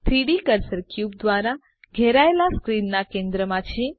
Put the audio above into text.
3ડી cursor cube દ્વારા ઘેરાયેલા સ્ક્રીનના કેન્દ્રમાં છે